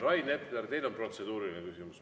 Rain Epler, teil on protseduuriline küsimus.